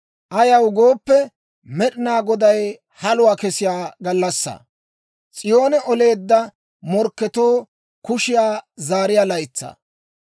Ayaw gooppe, Med'inaa Goday haluwaa kessiyaa gallassaa; S'iyoone oleedda morkketoo kushiyaa zaariyaa laytsaa.